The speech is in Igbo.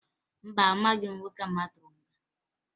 Mba, ahụghị m nwoke ahụ atụrụ nga.